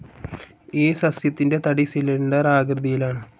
ഈ സസ്സ്യത്തിൻ്റെ തടി സിലിണ്ടർ ആകൃതിയിലാണ്.